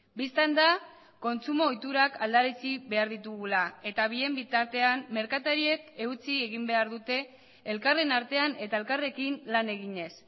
bistan da kontsumo ohiturak aldarazi behar ditugula eta bien bitartean merkatariek eutsi egin behar dute elkarren artean eta elkarrekin lan eginez